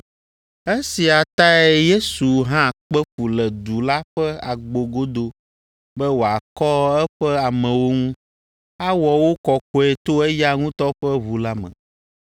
Esia tae Yesu hã kpe fu le du la ƒe agbo godo be wòakɔ eƒe amewo ŋu, awɔ wo kɔkɔe to eya ŋutɔ ƒe ʋu la me.